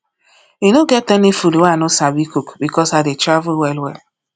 e no get any food wey i no sabi cook because i dey travel wellwell